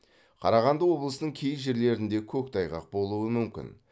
қарағанды облысының кей жерлерінде көктайғақ болуы мүмкін